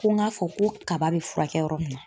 Ko n k'a fɔ ko kaba bɛ furakɛ yɔrɔ min na.